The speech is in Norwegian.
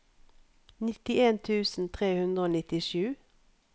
nittien tusen tre hundre og nittisju